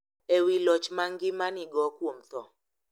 E wi loch ma ngima nigo kuom tho .